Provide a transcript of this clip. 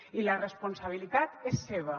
i la responsabilitat és seva